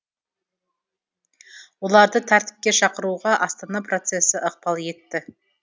оларды тәртіпке шақыруға астана процесі ықпал етті